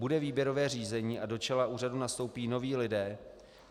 Bude výběrové řízení a do čela úřadu nastoupí noví lidé?